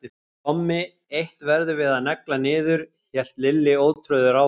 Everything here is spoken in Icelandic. En Tommi, eitt verðum við að negla niður hélt Lilli ótrauður áfram.